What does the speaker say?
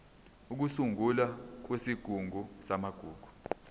ukusungulwa kwesigungu samagugu